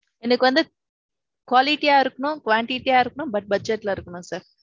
எனக்கு வந்து. quality யா இருக்கணும் quantity யா இருக்கனும். But budget ல இருக்கணும் sir.